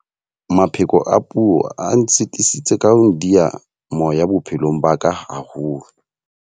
Mapheko a puo a nsitisitse ka ho ndiya moya bophelong ba ka haholo.